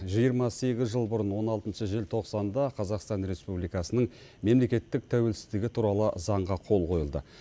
жиырма сегіз жыл бұрын он алтыншы желтоқсанда қазақстан республикасының мемлекеттік тәуелсіздігі туралы заңға қол қойылды